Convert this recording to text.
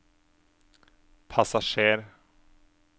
passasjer